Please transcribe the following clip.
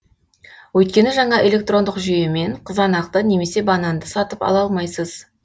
өйткені жаңа электрондық жүйемен қызанақты немесе бананды сатып ала алмайсыз